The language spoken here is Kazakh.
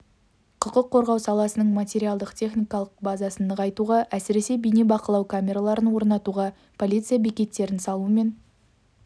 құқық қорғау саласының материалдық-техникалық базасын нығайтуға әсіресе бейне бақылау камераларын орнатуға полиция бекеттерін салу мен